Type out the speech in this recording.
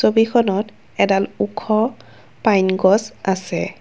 ছবিখনত এডাল ওখ পাইন গছ আছে।